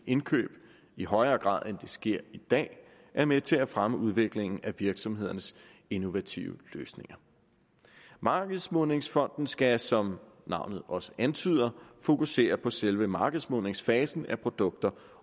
indkøb i højere grad end det sker i dag er med til at fremme udviklingen af virksomhedernes innovative løsninger markedsmodningsfonden skal som navnet også antyder fokusere på selve markedsmodningsfasen af produkter